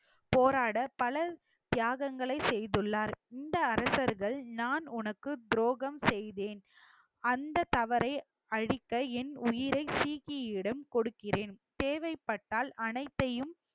போராட பல தியாகங்களை செய்துள்ளார் இந்த அரசர்கள் நான் உனக்கு துரோகம் செய்தேன் அந்த தவறை அழிக்க என் உயிரை சீக்கியிடம் கொடுக்கிறேன் தேவைப்பட்டால் அனைத்தையும்